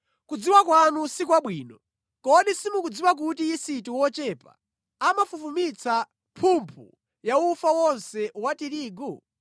Kudziwa kwanu si kwabwino. Kodi simukudziwa kuti yisiti wochepa amafufumitsa mphumphu yaufa wonse wa tirigu?